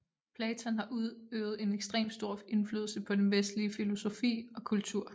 Platon har udøvet en ekstrem stor indflydelse på den vestlige filosofi og kultur